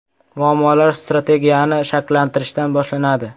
Muammolar strategiyani shakllantirishdan boshlanadi.